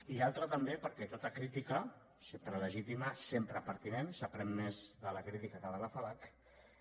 i l’altre també perquè tota crítica sempre legítima sempre pertinent s’aprèn més de la crítica que de l’afalac